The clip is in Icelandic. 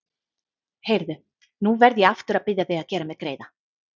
Heyrðu. nú verð ég aftur að biðja þig að gera mér greiða!